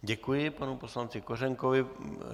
Děkuji panu poslanci Kořenkovi.